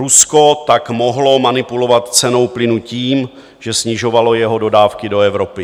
Rusko tak mohlo manipulovat cenou plynu tím, že snižovalo jeho dodávky do Evropy.